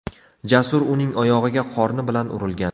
Jasur uning oyog‘iga qorni bilan urilgan.